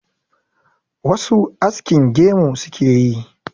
wasu askin gemu suke yi